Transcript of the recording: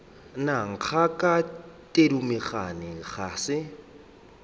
na ngaka thedimogane ga se